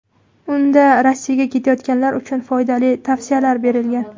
Unda Rossiyaga ketayotganlar uchun foydali tavsiyalar berilgan.